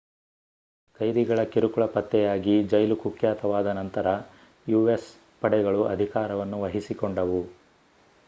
ಕೈದಿಗಳ ಕಿರುಕುಳ ಪತ್ತೆಯಾಗಿ ಜೈಲು ಕುಖ್ಯಾತವಾದ ನಂತರ ಯುಎಸ್ ಪಡೆಗಳು ಅಧಿಕಾರವನ್ನು ವಹಿಸಿಕೊಂಡವು